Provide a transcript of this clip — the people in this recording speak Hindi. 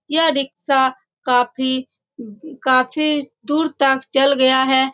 यह रिक्शा काफी काफी दूर तक चल गया है।